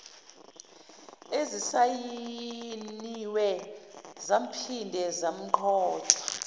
ezisayiniwe zaphinde zagqotshwa